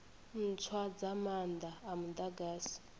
ntswa dza maanda a mudagasi